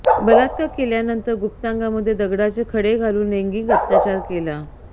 बलात्कार केल्यानंतर गुप्तागांमध्ये दगडाचे खडे घालून लैंगिक अत्याचार केला